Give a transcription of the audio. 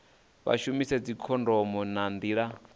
vha shumise dzikhondomo nga nḓila